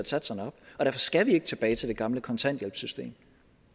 satserne op og derfor skal vi ikke tilbage til det gamle kontanthjælpssystem